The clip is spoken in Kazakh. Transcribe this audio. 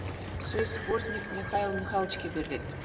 сөз бортник михаил михайловичке беріледі